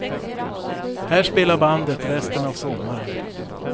Här spelar bandet resten av sommaren.